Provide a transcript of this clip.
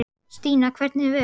Stína, hvernig er veðurspáin?